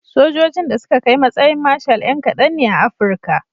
Sojojin da suka kai matsayin marshal 'yna kadan ne a Afirka.